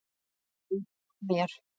ann á mér.